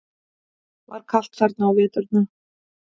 Var kalt þar á veturna?